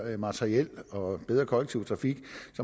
materiel og bedre kollektiv trafik